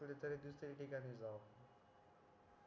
कुठे तरी दुसऱ्या ठिकाणी जाऊ